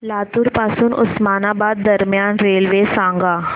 लातूर पासून उस्मानाबाद दरम्यान रेल्वे सांगा